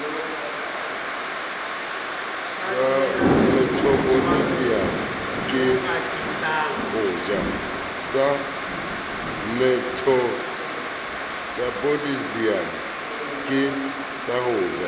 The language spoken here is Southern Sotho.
sa methabolisemo ke ho ja